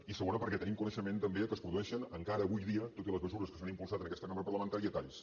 i segona perquè tenim coneixement també que es produeixen encara avui dia tot i les mesures que s’han impulsat en aquesta cambra parlamentària talls